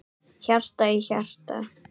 Hjarta í hjarta.